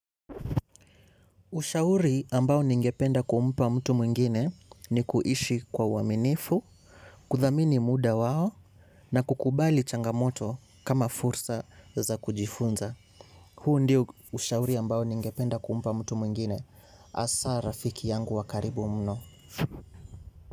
Ushauri ambao ningependa kumpa mtu mwingine ni kuishi kwa uaminifu, kuthamini muda wao na kukubali changamoto kama fursa za kujifunza. Huu ndio ushauri ambao ningependa kumpa mtu mwingine. Hasa rafiki yangu wa karibu mno.